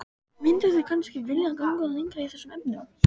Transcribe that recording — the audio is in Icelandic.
Mynduð þið kannski vilja ganga lengra í þessum efnum?